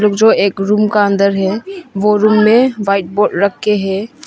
जो एक रूम के अंदर है वो रूम में व्हाइट बोर्ड रखे हैं।